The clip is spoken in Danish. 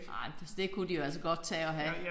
Nej men det kunne de jo altså godt tage at have